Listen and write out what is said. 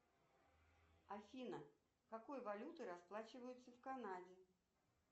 афина какой валютой расплачиваются в канаде